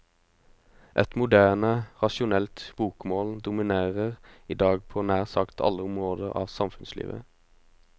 Et moderne, rasjonelt bokmål dominerer i dag på nær sagt alle områder av samfunnslivet.